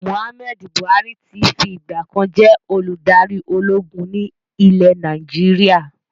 Muhammadu Buhari tí fi ìgbàkan jẹ́ olùdarí ológun ni ilẹ̀ Nàìjíríà